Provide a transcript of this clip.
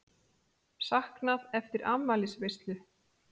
Saknað eftir afmælisveislu